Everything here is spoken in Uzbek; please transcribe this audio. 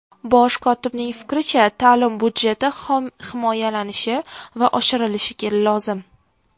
Bosh kotibning fikricha, ta’lim budjeti himoyalanishi va oshirilishi lozim.